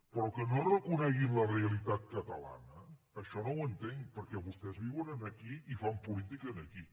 però que no reconeguin la realitat catalana això no ho entenc perquè vostès viuen aquí i fan política aquí